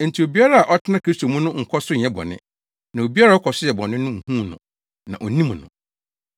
Enti obiara a ɔtena Kristo mu no nkɔ so nyɛ bɔne. Na obiara a ɔkɔ so yɛ bɔne no nhuu no, na onnim no.